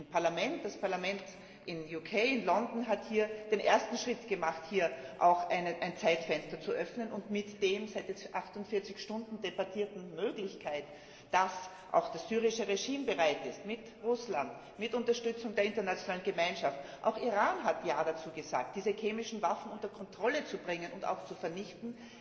Ein Parlament, das Parlament in Großbritannien, in London, hat hier den ersten Schritt gemacht, um ein Zeitfenster zu öffnen, mit der seit 48 Stunden debattierten Möglichkeit, dass das syrische Regime bereit ist, mit Russland, mit Unterstützung der internationalen Gemeinschaft auch Iran hat Ja dazu gesagt diese chemischen Waffen unter Kontrolle zu bringen und zu vernichten.